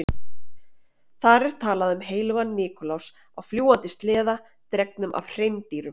Þar er talað um heilagan Nikulás á fljúgandi sleða dregnum af hreindýrum.